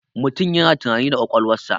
Mutum yana tunani da ƙwaƙwalwarsa.